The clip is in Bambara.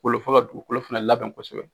Kolo fo ka dugukolo fɛnɛ labɛn kosɛbɛ.